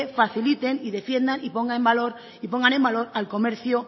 faciliten y defiendan y pongan el valor al comercio